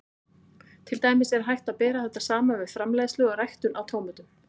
Til dæmis er hægt að bera þetta saman við framleiðslu og ræktun á tómötum.